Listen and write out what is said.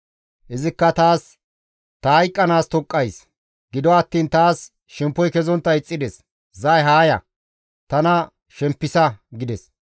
«Izikka taas, ‹Ta hayqqanaas toqqays; gido attiin taas shemppoy kezontta ixxides; zay haa ya; tana shempisa› gides.